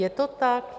Je to tak?